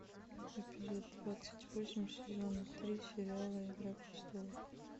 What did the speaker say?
эпизод двадцать восемь сезона три сериала игра престолов